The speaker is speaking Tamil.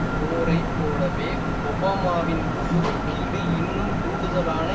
போரை போலவே ஒபாமாவின் குறுக்கீடு இன்னும் கூடுதலான